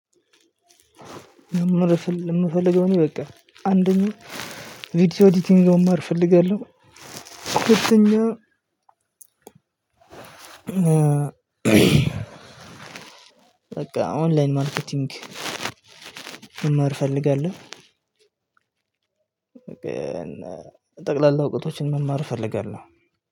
መማር ምፈልገው እኔ በቃ አንደኛ ቪዲዮ አድቲንግ መማር ፈልጋለሁ። ሁለተኛ በቃ ኦንላይን ማርኬቲንግ። መማር እፈልጋለሁ። ጠቅላላ እውቀቶችን መማር እፈልጋለሁ።